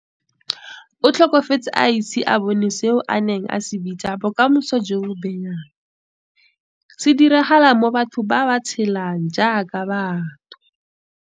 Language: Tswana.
O tlhokafetse a ise a bone seo a neng a se bitsa 'bokamoso jo bo benyang', se diragala mo batho ba tshelang jaaka batho.